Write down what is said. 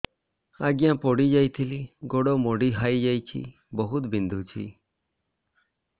ଆଜ୍ଞା ପଡିଯାଇଥିଲି ଗୋଡ଼ ମୋଡ଼ି ହାଇଯାଇଛି ବହୁତ ବିନ୍ଧୁଛି